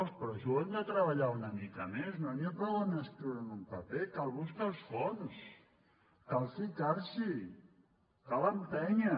però això ho hem de treballar una mica més no n’hi ha prou a escriureho en un paper cal buscar els fons cal ficars’hi cal empènyer